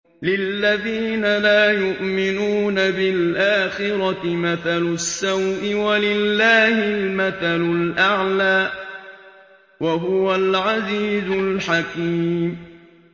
لِلَّذِينَ لَا يُؤْمِنُونَ بِالْآخِرَةِ مَثَلُ السَّوْءِ ۖ وَلِلَّهِ الْمَثَلُ الْأَعْلَىٰ ۚ وَهُوَ الْعَزِيزُ الْحَكِيمُ